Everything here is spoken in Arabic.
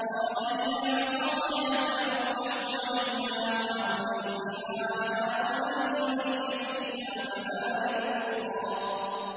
قَالَ هِيَ عَصَايَ أَتَوَكَّأُ عَلَيْهَا وَأَهُشُّ بِهَا عَلَىٰ غَنَمِي وَلِيَ فِيهَا مَآرِبُ أُخْرَىٰ